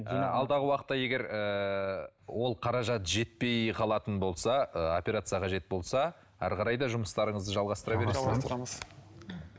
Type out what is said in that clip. ы алдағы уақытта егер ыыы ол қаражат жетпей қалатын болса ы операция қажет болса әрі қарай да жұмыстарыңызды жалғастыра